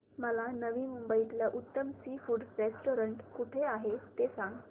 मला नवी मुंबईतलं उत्तम सी फूड रेस्टोरंट कुठे आहे ते सांग